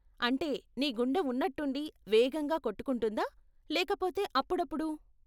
అంటే, నీ గుండె ఉన్నట్టుండి వేగంగా కొట్టుకుంటుందా లేకపోతే అప్పుడప్పుడు?